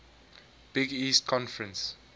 big east conference